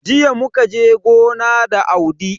Jiya muka je gona da Audi.